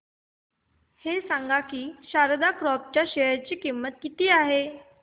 हे सांगा की शारदा क्रॉप च्या शेअर ची किंमत किती आहे